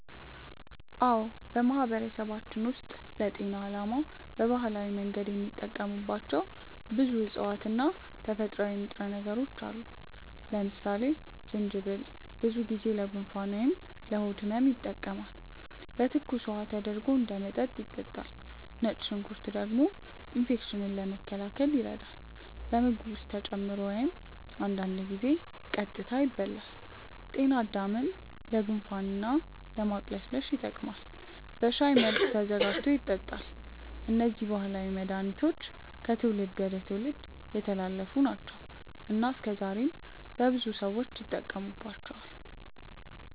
አዎ፣ በማህበረሰባችን ውስጥ ለጤና ዓላማ በባህላዊ መንገድ የሚጠቀሙባቸው ብዙ እፅዋት እና ተፈጥሯዊ ንጥረ ነገሮች አሉ። ለምሳሌ ጅንጅብል ብዙ ጊዜ ለጉንፋን ወይም ለሆድ ህመም ይጠቀማል፤ በትኩስ ውሃ ተደርጎ እንደ መጠጥ ይጠጣል። ነጭ ሽንኩርት ደግሞ ኢንፌክሽንን ለመከላከል ይረዳል፣ በምግብ ውስጥ ተጨምሮ ወይም አንዳንድ ጊዜ ቀጥታ ይበላል። ጤናድምም ለጉንፋን እና ለማቅለሽለሽ ይጠቀማል፤ በሻይ መልክም ተዘጋጅቶ ይጠጣል። እነዚህ ባህላዊ መድሃኒቶች ከትውልድ ወደ ትውልድ የተላለፉ ናቸው እና እስከዛሬም በብዙ ሰዎች ይጠቀሙባቸዋል።